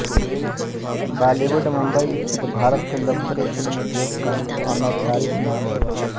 बॉलीवुड मुम्बई स्थित भारत के लोकप्रिय फिल्म उद्योग का अनौपचारिक नाम है